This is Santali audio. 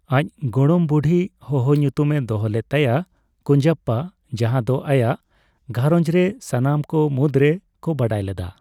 ᱟᱪ ᱜᱚᱲᱚᱢ ᱵᱩᱲᱦᱤ ᱦᱚᱦᱚ ᱧᱩᱛᱩᱢ ᱮ ᱫᱚᱦᱚ ᱞᱮᱫ ᱛᱟᱭᱟ 'ᱠᱩᱧᱡᱟᱯᱯᱟ' ᱡᱟᱸᱦᱟ ᱫᱚ ᱟᱭᱟᱜ ᱜᱷᱟᱨᱚᱧᱡ ᱨᱮ ᱥᱟᱱᱟᱢ ᱠᱚ ᱢᱩᱫᱨᱮ ᱠᱚ ᱵᱟᱰᱟᱭ ᱞᱮᱫᱟ ᱾